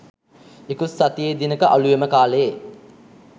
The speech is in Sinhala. ඉකුත් සතියේ දිනක අලුයම කාලයේ